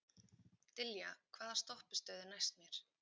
Dilja, hvaða stoppistöð er næst mér?